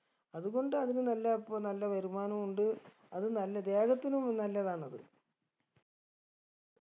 അതുകൊണ്ട് അതിന് നല്ല അപ്പൊ നല്ല വരുമാനോം ഉണ്ട് അത് നല്ല ദേഹത്തിനും നല്ലതാണത്